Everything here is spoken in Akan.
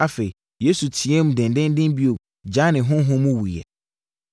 Afei, Yesu teaam denden bio gyaee ne honhom mu wuiɛ.